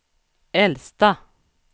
äldsta